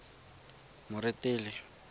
moretele